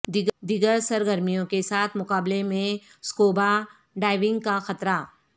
دیگر سرگرمیوں کے ساتھ مقابلے میں سکوبا ڈائیونگ کا خطرہ